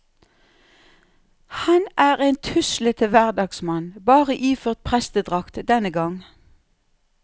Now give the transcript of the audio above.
Han er en tuslete hverdagsmann, bare iført prestedrakt denne gang.